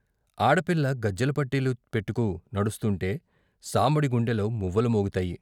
ఆడపిల్ల గజ్జెల పట్టీలు పెట్టుకు నడుస్తుంటే సాంబడి గుండెలో మువ్వలు మోగుతాయి.